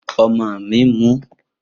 Omo mi n mu.